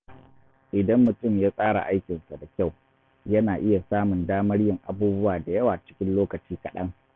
Idan mutum ya tsara aikinsa da kyau, yana iya samun damar yin abubuwa da yawa cikin lokaci kaɗan.